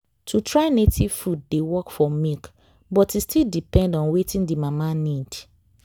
to try native food dey work for milk but e still depend on wetin the mama need.